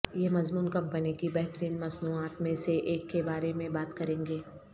یہ مضمون کمپنی کی بہترین مصنوعات میں سے ایک کے بارے میں بات کریں گے